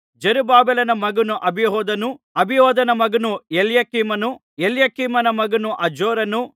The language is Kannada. ಜೆರುಬ್ಬಾಬೆಲನ ಮಗನು ಅಬಿಹೂದನು ಅಬಿಹೂದನ ಮಗನು ಎಲ್ಯಕೀಮನು ಎಲ್ಯಕೀಮನ ಮಗನು ಅಜೋರನು